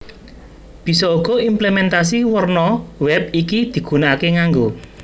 Bisa uga implementasi werna wèb iki digunakaké nganggo